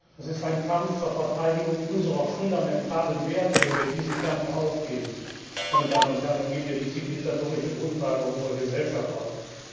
Es ist ein Kampf zur Verteidigung unserer fundamentalen Werte. Wenn wir diesen Kampf aufgeben, meine Damen und Herren, dann geben wir die zivilisatorische Grundlage unserer Gesellschaft auf.